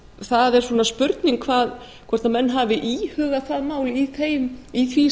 það er svona spurning hvort menn hafi íhugað það mál í því